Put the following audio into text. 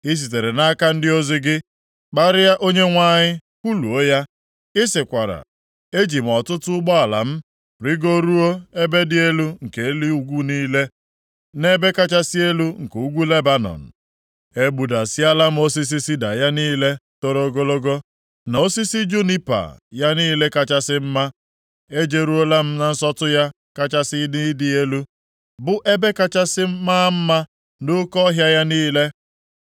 I sitere nʼaka ndị ozi gị kparịa Onyenwe anyị, kwuluo ya, ị sịkwara, ‘Eji m ọtụtụ ụgbọala m rigoruo ebe dị elu nke nʼelu ugwu niile, nʼebe kachasị elu nke ugwu Lebanọn. Egbudasịala m osisi sida ya niile toro ogologo, na osisi junipa ya niile kachasị mma. Ejeruola m na nsọtụ ya kachasị nʼịdị elu, bụ ebe kachasị maa mma nʼoke ọhịa ya niile.